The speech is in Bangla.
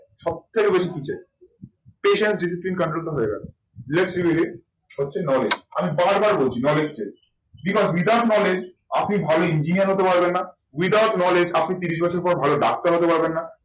সবথেকে বেশি কি চাই? patience কাণ্ডটা হয়ে গেল। বিরাশ মিনিট সবচেয়ে knowledge আমি বার বার বলছি knowledge gain বিনা বিধান বলে আপনি ভালো ইঞ্জিনিয়ার হতে পারবেন না, without knowledge আপনি তিরিশ বছর পর ভালো ডাক্তার হতে পারবেন না।